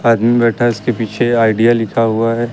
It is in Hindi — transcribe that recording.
आदमी बैठा है उसके पीछे आइडिया लिखा हुआ है।